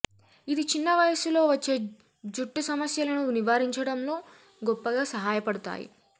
ఇది చిన్న వయస్సులో వచ్చే జుట్టు సమస్యలను నివారించడలో గొప్పగా సహాయపడుతాయి